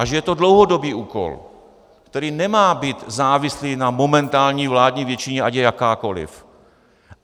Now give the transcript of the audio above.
A že to je dlouhodobý úkol, který nemá být závislý na momentální vládní většině, ať je jakákoli.